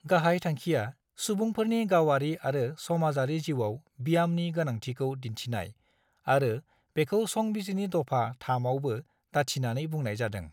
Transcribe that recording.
गाहाय थांखिया सुबुंफोरनि गावारि आरो समाजारि जिउआव ब्यामनि गोनांथिखौ दिन्थिनाय आरो बेखौ संबिजिरनि दफा-III आवबो दाथिनानै बुंनाय जादों।